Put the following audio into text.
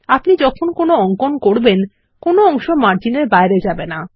আপনি যখন কোনো অঙ্কন করবেন কোনো অংশ মার্জিন এর বাইরে যাবে না